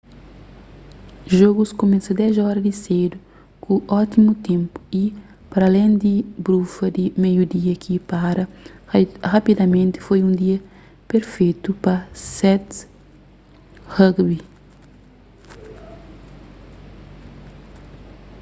jogus kumesa 10:00 di sedu ku ótimu ténpu y paralén di brufa di meiu dia ki para rapidamenti foi un dia perfetu pa 7's rugby